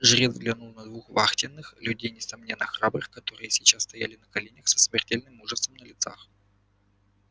жрец взглянул на двух вахтенных людей несомненно храбрых которые сейчас стояли на коленях со смертельным ужасом на лицах